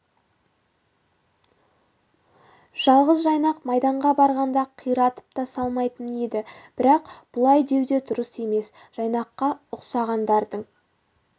жалғыз жайнақ майданға барғанда қиратып та салмайтын еді бірақ бұлай деу де дұрыс емес жайнаққа ұқсағандардың